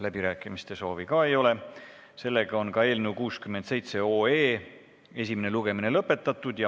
Läbirääkimiste soovi ka ei ole, seega on ka eelnõu 67 esimene lugemine lõpetatud.